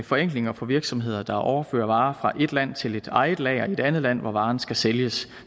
forenklinger for virksomheder der overfører varer fra et land til eget lager i et andet land hvor varen skal sælges